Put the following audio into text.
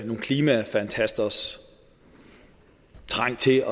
nogle klimafantasters trang til